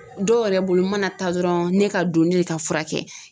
Dɔw yɛrɛ bolo mana taa dɔrɔn ne ka donni ne ka furakɛ.